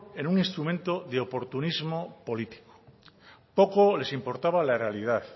en un instrumento de oportunismo político poco les importaba la realidad